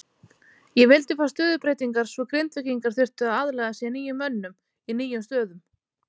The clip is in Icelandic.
Ég vildi fá stöðubreytingar svo Grindvíkingar þyrftu að aðlaga sig nýjum mönnum í nýjum stöðum.